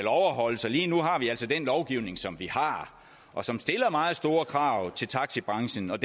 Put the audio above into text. overholdes og lige nu har vi altså den lovgivning som vi har og som stiller meget store krav til taxibranchen og